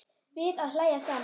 Við að hlæja saman.